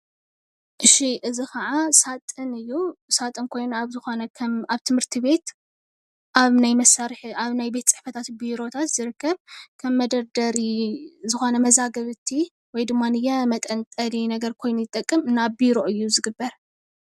እሺ እዚ ኻዓ ሳጥን እዩ። ሳጥን ኮይኑ ኣብ ዝኾነ ከም ኣብ ትምህርቲ ቤት ኣብ ናይ መሳርሒ ኣብ ናይ ቤት ፅሕፈታት ቢሮታት ዝርከብ ከም መደርደሪ ዝኾነ መዛግብቲ ወይ ድማንየ መጠንጠሊ ነገር ኮይኑ ይጠቅም። ናብ ቢሮ እዩ ዝግበር።